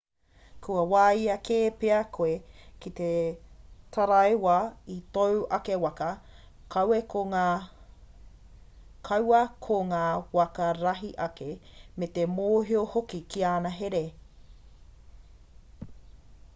kua wāia kē pea koe ki te taraiwa i tōu ake waka kaua ko ngā waka rahi ake me te mōhio hoki ki ana here